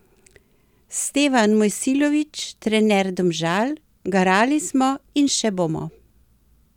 Stevan Mojsilović, trener Domžal: 'Garali smo in še bomo.